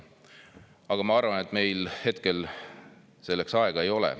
Aga ma arvan, et meil hetkel selleks aega ei ole.